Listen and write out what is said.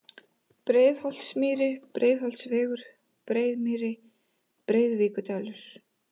Breiðholtsmýri, Breiðholtsvegur, Breiðmýri, Breiðuvíkurdalur